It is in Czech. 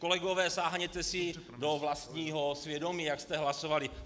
Kolegové, sáhněte si do vlastního svědomí, jak jste hlasovali.